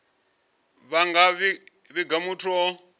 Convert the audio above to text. vha nga vhiga muthu o